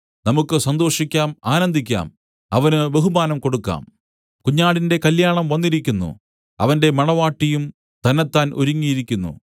നമുക്ക് സന്തോഷിക്കാം ആനന്ദിക്കാം അവന് ബഹുമാനം കൊടുക്കാം കുഞ്ഞാടിന്റെ കല്യാണം വന്നിരിക്കുന്നു അവന്റെ മണവാട്ടിയും തന്നെത്താൻ ഒരുങ്ങിയിരിക്കുന്നു